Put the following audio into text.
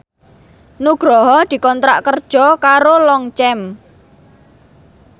Nugroho dikontrak kerja karo Longchamp